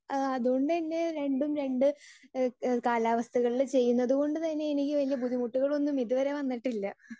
speaker 2 അതുകൊണ്ട് തന്നെ രണ്ടും രണ്ട് ഇഹ് കാലാവസ്ഥകളിൽ ചെയ്യുന്നത് കൊണ്ട് തന്നെ എനിക്ക് വല്യ ബുദ്ധിമുട്ടുകളൊന്നും ഇതുവരെ വന്നിട്ടില്ല